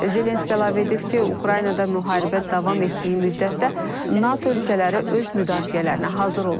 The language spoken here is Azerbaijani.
Zelenski əlavə edib ki, Ukraynada müharibə davam etdiyi müddətdə NATO ölkələri öz müdafiələrinə hazır olmalıdır.